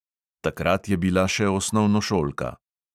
Takrat je bila še osnovnošolka.